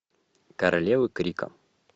королевы крика